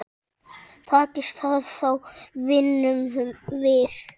Takist það þá vinnum við.